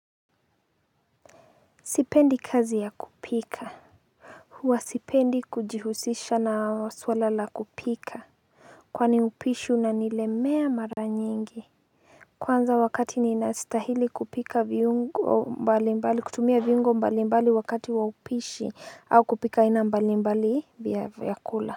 Sipendi kazi ya kupika. Huwa sipendi kujihusisha na swala la kupika kwani upishi unanilemea mara nyingi Kwanza wakati ninastahili kupika viungo mbali mbali, kutumia viungo mbali mbali wakati wa upishi au kupika aina mbali mbali vya vyakula.